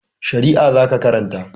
Shari'a za ka karanta!